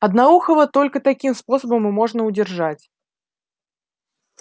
одноухого только таким способом и можно удержать